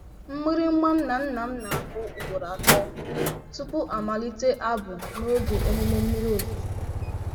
Mgbịrịgba nna nna m na-akụ ugboro atọ tupu a malite abụ n'oge emume mmiri ozuzo.